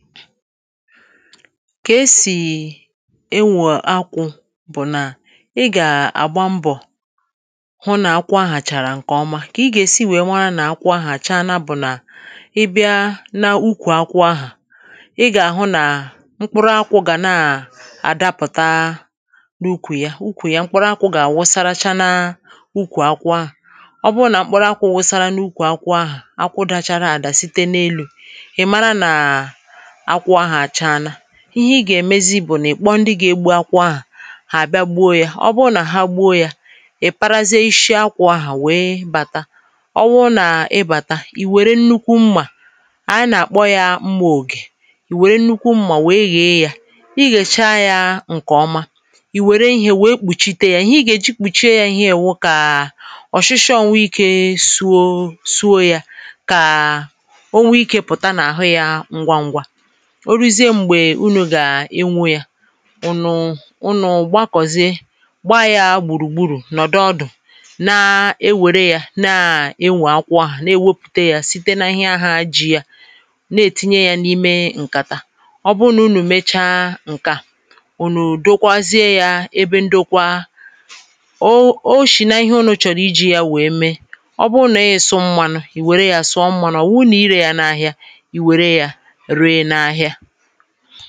ka esì ịnwụ̀ akwụ̇ bụ̀ nà ị gà-àgba mbọ̀ hụ nà akwụ ahàchàrà ǹkè ọma kà ị gà-èsi nwèe nwaa nà-akwụ ahàcha bụ̀ nà ị bịa n’ụkwụ akwụ̇ ahà̀ ị gà-àhụ nà mkpụrụ akwụ̇ gà na-àdapụ̀ta n’ụkwụ̀ ya ụkwụ̀ ya mkpụrụ akwụ̇ gà-àwụ wụsaracha na akwụ akwụ̇ ọbụrụ nà mkpụrụ akwụ̇ wụsara n’ụkwụ̀ akwụ ahàchà ha kwụdachara àdà site n’elu̇ ihe i gà-èmezi bụ̀ nà ị̀ kpọ ndị gà-egbu akwụ ahà hà àbịa gboo ya ọ bụ nà ha gboo ya ị̀ parazie ishi ha kwà ahà wee bàta ọ wụ nà ịbàta ì wère nnukwu mmà ànyị nà-àkpọ ya mmȧ ògè ì wère nnukwu mmà wee gà-e ya i gà-ècha ya ǹkè ọma ì wère ihe wee kpùchite ya ihe i gà-èji kpùchie ya ihe ewu kà ọ̀shịshọ ọ̀nwe ikė zuo yȧ kà o nwe ikė pụ̀ta n’àhụ ya ngwa ngwa urùzie m̀gbè unù gà-enwu̇ ya ụnụ̀ ụnụ gbàkọ̀zịe gbaa ya gbùrùgburu̇ nọ̀dụ ọdụ̀ na-ewère ya na-enwè akwọ ahụ̀ na-ewepùte ya site n’ahịa ji ya na-etinye ya n’ime ǹkàtà ọ bụrụ nà unù mecha ǹke a ò nù dokwazie ya ebe ndokwa o shì nà ihe unù chọ̀rọ̀ iji̇ ya wèe mee ọ bụrụ nà ihe sọ mmanụ i wère ya sọ mmanụ ọ̀ nwụrụ irė ya n’ahịa anà-àkpọrọ̀ ihe ọ̀tụtụ ndị nọ̀ n’obì akȧ n’obì akȧ na-eb�anụ̇ mmȧ ọkụ̀ màkà ịbụ̇ onye ahụ̀